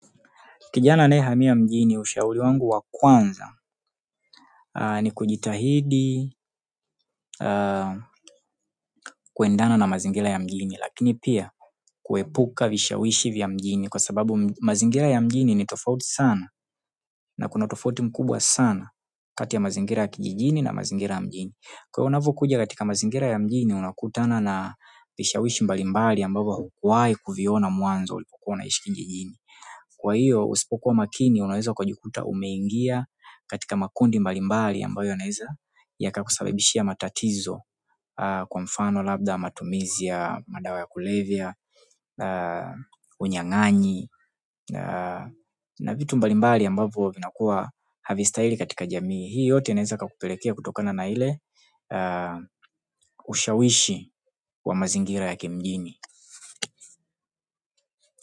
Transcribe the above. Kijana anaye hamia mjini ushauri wangu wa kwanza ni kujitahidi kuendana na mazingira ya mjini lakini pia kuepuka vishawishi vya mjini kwa sababu mazingira ya mjini ni tofauti sana na kuna tofauti mkubwa sana kati ya mazingira ya kijijini na mazingira ya mjini kwa hio unavo kuja katika mazingira ya mjini unakutana na vishawishi mbalimbali ambavyo hukuwahi kuviona mwanzo ulipokuwa una ishi kijijini kwa hiyo usipokuwa makini unaweza ukajikuta umeingia katika makundi mbalimbali ambayo yanaeza ya kakusababishia matatizo kwa mfano labda matumizi ya, madawa ya kulevya, unyanganyi na vitu mbalimbali ambayo vinakuwa havi stahili katika jamii. Hii yote inaweza kakupelekea kutokana na ile ushawishi wa mazingira ya kimjini.